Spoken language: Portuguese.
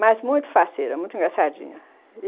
Mas muito faceira, muito engraçadinha.